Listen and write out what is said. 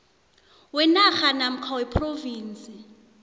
wenarha namkha wephrovinsi